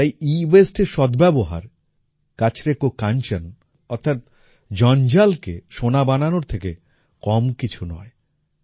তাই এওয়াসতে এর সদ্ব্যবহার কাচরে কো কাঞ্চন অর্থাৎ জঞ্জালকে সোনা বানানোর থেকে কম কিছু নয়